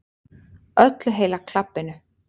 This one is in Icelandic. Öllu heila klabbinu.